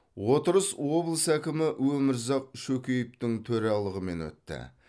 отырыс облыс әкімі өмірзақ шөкеевтің төрағалығымен өтті